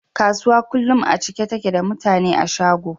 Kasuwa kullun a cike take da mutane a shago